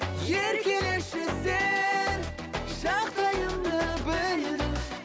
еркелеші сен жағдайымды білдің